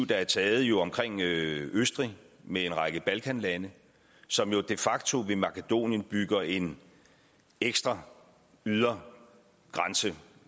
der er taget omkring østrig med en række balkanlande som jo de facto ved makedonien bygger en ekstra ydre grænse